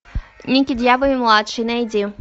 никки дьявол младший найди